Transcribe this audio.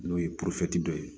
N'o ye dɔ ye